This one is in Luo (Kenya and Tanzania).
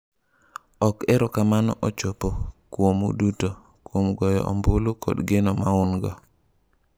"""Ok erokamano ochopo kuomu duto, kuom goyo ombulu kod geno ma un-go."